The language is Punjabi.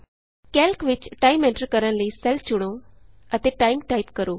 ਕੈਲਕ ਵਿਚ ਟਾਈਮ ਐਂਟਰ ਕਰਨ ਲਈ ਸੈੱਲ ਚੁਣੋ ਅਤੇ ਟਾਈਮ ਟਾਈਪ ਕਰੋ